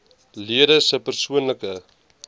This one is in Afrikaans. lede se persoonlike